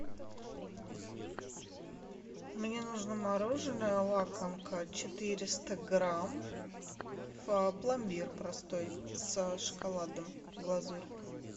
мне нужно мороженое лакомка четыреста грамм пломбир простой с шоколадом глазурь